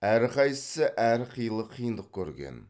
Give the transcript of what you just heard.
әрқайсысы әрқилы қиындық көрген